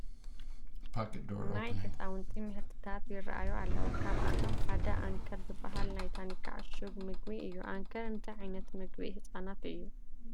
ናይ ህፃውንቲ ምህርትታት ይርአዩ ኣለዉ፡፡ ካብኣቶም ሓደ ኣንከር ዝበሃል ናይ ታኒካ ዕሹም ምግቢ እዩ፡፡ ኣንከር እንታይ ዓይነት ምግቢ ህፃናት እዩ?